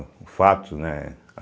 O fato, né?